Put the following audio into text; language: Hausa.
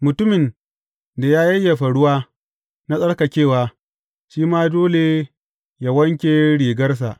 Mutumin da ya yayyafa ruwa na tsarkakewa, shi ma dole yă wanke rigarsa.